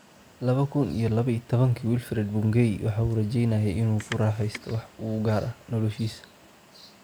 Laba kuun iyo laba iyo tabanka, Wilfred Bungei waxa uu rajaynayay in uu ku raaxaysto wax u gaar ah noloshiisa.